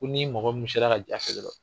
Ko ni mɔgɔ min sera ka